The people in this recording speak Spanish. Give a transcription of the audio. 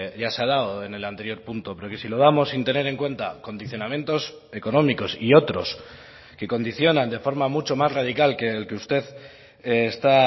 ya se ha dado en el anterior punto pero que si lo damos sin tener en cuenta condicionamientos económicos y otros que condicionan de forma mucho más radical que el que usted está